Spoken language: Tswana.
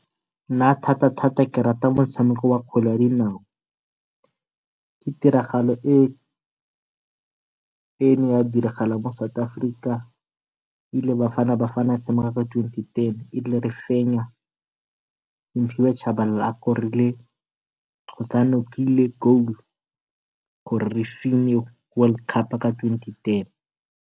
Nna thata thata ke rata motshameko wa kgwele ya dinao. Ke tiragalo e e ne ya diragala mo South Africa ile Bafana Bafana e tshameka ka twenty ten, erile re fenya Simphiwe Tshabalala a korile kgotsa a nokile goal gore re fenye world cup ka twenty ten.